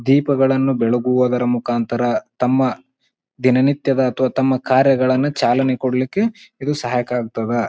ದೀಪಗಳನ್ನು ಬೆಳಗುವುದರ ಮುಕಾಂತರ ತಮ್ಮ ದಿನನಿತ್ಯದ ಅಥ್ವಾ ತಮ್ಮ ಕಾರ್ಯಗಳನ್ನು ಚಾಲನೆ ಕೊಡ್ಲಿಕ್ಕೆ ಇದು ಸಹಾಯಕ್ಕಾಗ್ತವೆ.